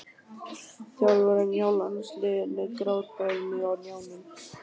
Þjálfarinn hjá landsliðinu grátbað mig á hnjánum.